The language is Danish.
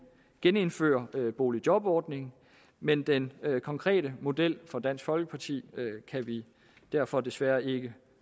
genindfører boligjobordningen men den konkrete model fra dansk folkeparti kan vi derfor desværre ikke